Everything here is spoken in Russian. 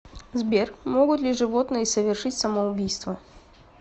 сбер могут ли животные совершить самоубийство